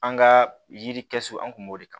An ka yiri kɛsu an kun b'o de kan